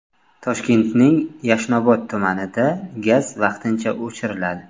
Toshkentning Yashnobod tumanida gaz vaqtincha o‘chiriladi.